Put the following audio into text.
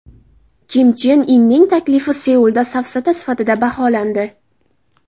Kim Chen Inning taklifi Seulda safsata sifatida baholandi.